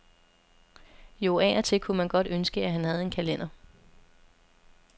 Jo, af og til kunne man godt ønske, at han havde en kalender.